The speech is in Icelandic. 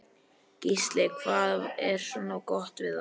Gísli: Hvað er svona gott við það?